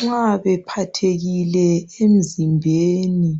nxa bephathekile emzimbeni